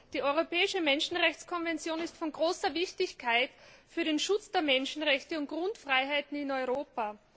Die Europäische Menschenrechtskonvention ist von großer Wichtigkeit für den Schutz der Menschenrechte und Grundfreiheiten in Europa.